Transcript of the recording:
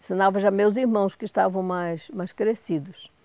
ensinava já meus irmãos, que estavam mais mais crescidos.